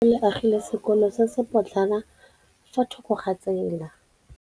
Lefapha la Thuto le agile sekôlô se se pôtlana fa thoko ga tsela.